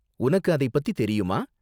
உனக்கு அதைப் பத்தி தெரியுமா?